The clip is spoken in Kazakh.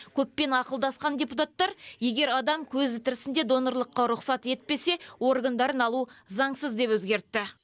көппен ақылдасқан депутаттар егер адам көзі тірісінде донорлыққа рұқсат етпесе органдарын алу заңсыз деп өзгертті